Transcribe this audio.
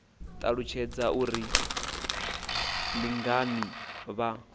ṱalutshedze uri ndi ngani vha